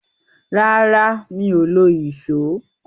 Rárá, mi ò lo ìsó.